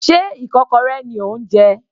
Sé ikokorẹ ni ò ń jẹ?